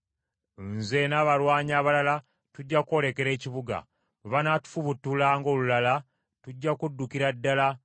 Nze n’abalwanyi abalala tujja kwolekera ekibuga, bwe banaatufubutula ng’olulala, tujja kuddukira ddala